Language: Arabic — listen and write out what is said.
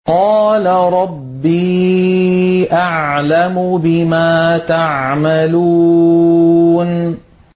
قَالَ رَبِّي أَعْلَمُ بِمَا تَعْمَلُونَ